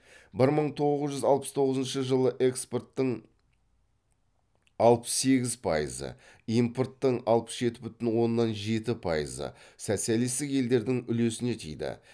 бір мың тоғыз жүз алпыс тоғызыншы жылы экспорттың алпыс сегіз пайызы импорттың алпыс жеті бүтін оннан жеті пайызы социалисттік елдерлің үлесіне тиді